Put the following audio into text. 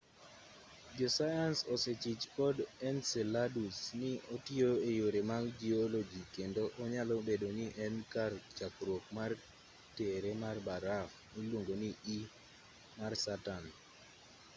josayans osechich kod enceladus ni otiyo e yore mag jioloji kendo onyalo bedo ni en e kar chakruok mar tere mar baraf miluongo ni e mar saturn